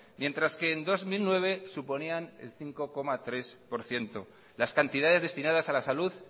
mientras que en dos mil nueve suponían el cinco coma tres por ciento las cantidades destinadas a la salud